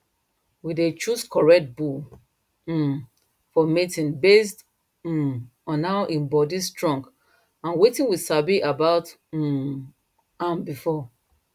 we dey choose correct bull um for mating based um on how im body strong and wetin we sabi about um am before